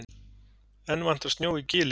Enn vantar snjó í Gilið